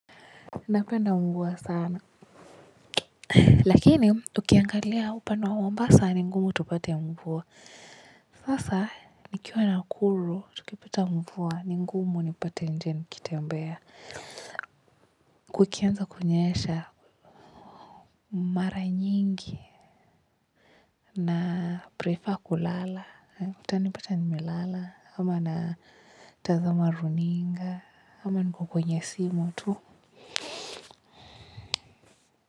Napenda mvua sana lakini tukiangalia upande wa Mombasa ni ngumu tupate mvua sasa nikiwa Nakuru tukipata mvua ni ngumu unipate nje nikitembea. Kukianza kunyesha mara nyingi na prefer kulala utanipata nimelala ama natazama runinga ama niko kwenye simu tu.